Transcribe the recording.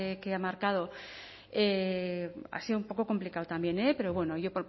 que ha marcado ha sido un poco complicado también eh pero bueno yo